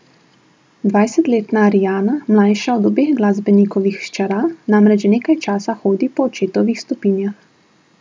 Dvajsetletna Arijana, mlajša od obeh glasbenikovih hčera, namreč že nekaj časa hodi po očetovih stopinjah.